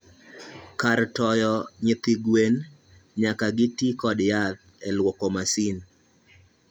Kar toyo nyithi gwen nyaka ti kod yath elwoko masin.